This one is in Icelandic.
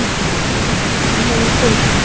Hvaða menntun hefur hún?